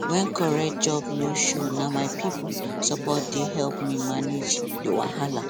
when correct job no show na my people support dey help me manage the wahala